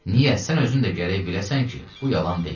Niyə, sən özün də gərək biləsən ki, bu yalan deyil.